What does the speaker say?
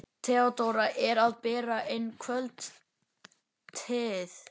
Theodóra er að bera inn kvöldteið.